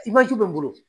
Imajɔ n bolo